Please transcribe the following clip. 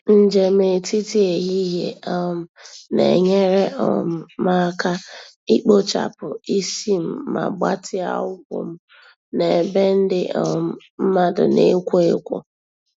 Njem etiti ehihie um na-enyere um m aka ikpochapụ isi m ma gbatịa ụkwụ m na ebe ndị um mmadụ na-ekwo ekwo.